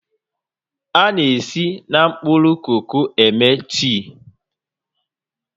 A na-esi na mkpụrụ koko eme tii